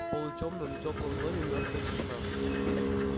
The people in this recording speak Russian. в полутемном теплом доме мёртвая тишина